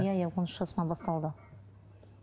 иә иә он үш жасынан басталды